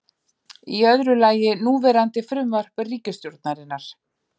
Í öðru lagi núverandi frumvarp ríkisstjórnarinnar